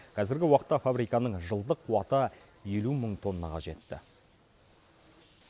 қазіргі уақытта фабриканың жылдық қуаты елу мың тоннаға жетті